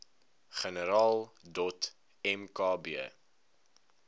generaal dot mkb